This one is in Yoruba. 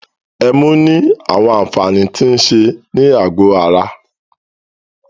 Ẹmu ní àwọn àǹfààní tí o ń ṣe ní àgọ ara.